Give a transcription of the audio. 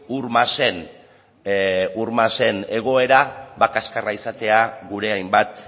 ur masen egoera kaxkarra izatea gure hainbat